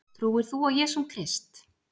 Trúir þú á Jesúm Krist?